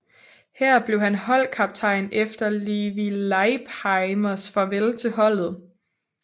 Her blev han holdkaptajn efter Levi Leipheimers farvel til holdet